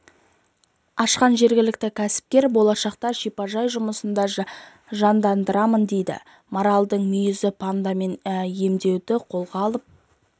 ашқан жергілікті кәсіпкер болашақта шипажай жұмысын да жандандырамын дейді маралдың мүйізі пантамен емдеуді қолға алып